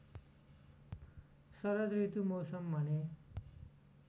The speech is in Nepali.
शरदऋतु मौसम भने